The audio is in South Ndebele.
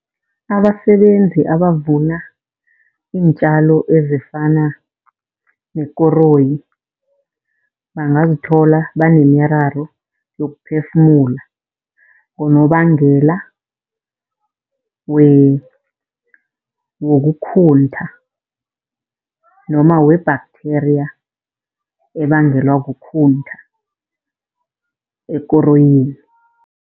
Abasebenzi abavuna iintjalo ezifana nekoroyi bangazithola banemiraro yokuphefumula, ngonobangela wokukhuntha noma we-bacteria ebangelwa kukhuntha ekoroyini.